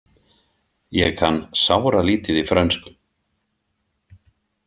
Ég kann sáralítið í frönsku.